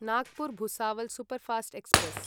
Nagpur Bhusawal superfast express